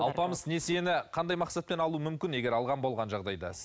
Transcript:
алпамыс несиені қандай мақсатпен алуы мүмкін егер алған болған жағдайда